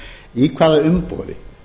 í hvaða umboði